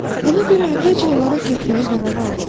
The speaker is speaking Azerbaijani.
Ona görə əvvəlcə onlara getməyə qərar aldı.